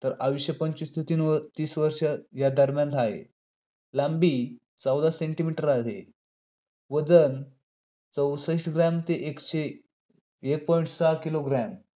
कडून युद्ध व राजनीतीचे शशस्त्र शिक्षण दिले.